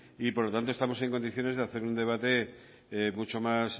y por lo tanto estamos en condiciones de hacer un debate mucho más